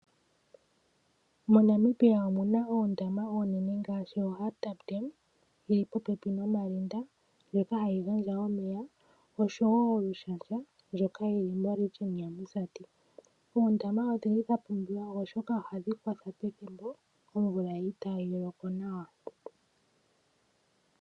Mo Namibia omuna oondama oonene ngaashi Hardap dam yili popepi noMarinda ndjoka hayi gandja omeya oshowo Olushandja ndjoka yi li moshitopolwa shaMusati. Oondama odhi li dha pumbiwa oshoka ohadhi kwatha pethimbo omvula itaayi loko nawa.